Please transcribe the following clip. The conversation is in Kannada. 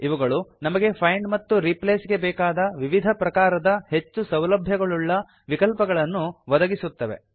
ಇವುಗಳು ನಮಗೆ ಫೈಂಡ್ ಮತ್ತು ರೀಪ್ಲೇಸ್ ಗೆ ಬೇಕಾದ ವಿವಿಧ ಪ್ರಕಾರದ ಹೆಚ್ಚು ಸೌಲಭ್ಯಗಳುಳ್ಳ ವಿಕಲ್ಪಗಳನ್ನು ಒದಗಿಸುತ್ತವೆ